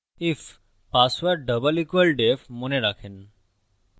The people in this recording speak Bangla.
if পাসওয়ার্ড double সমান def মনে রাখেন